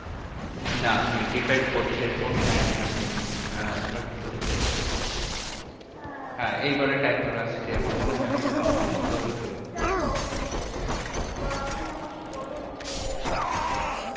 না depend করছে কোন time এ আপনি আহ চলছে? হ্যাঁ হ্যাঁ এইবারে timer আসছে আমার মনে হয় ওখানে কিছু বন্ধ হয়েছিল। যাইহোক anyways এবার আপনি আমাকে বলুন যে আপনারা